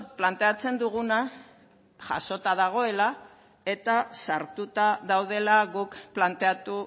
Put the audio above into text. planteatzen duguna jasota dagoela eta sartuta daudela guk planteatu